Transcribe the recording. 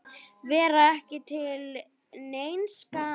Vera ekki til neins gagns.